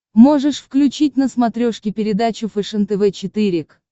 можешь включить на смотрешке передачу фэшен тв четыре к